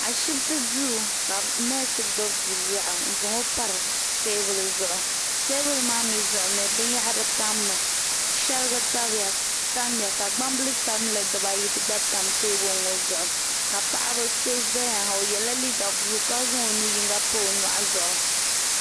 Ashipti duu ka neesi gbibi biliaɣu n za o pari teebuli zuɣu teebuli maa mee zuɣu binyahari tam mi sheriga tamya ka gbambili sabinli dibaayi gba tamya teebuli ŋɔ zuɣu ka paɣa so zaya o yela liiga buluu ka zaŋ o nu'yinga pa o nyɔɣu zuɣu.